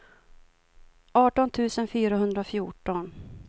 arton tusen fyrahundrafjorton